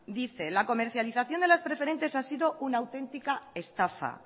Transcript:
dice la comercialización de las preferentes ha sido una auténtica estafa